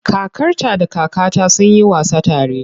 Kakarta da kakata sun yi wasa tare.